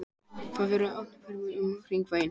Það eru átta ferðir um Hringveginn.